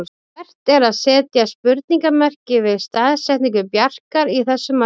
Vert er að setja spurningarmerki við staðsetningu Bjarkar í þessu marki.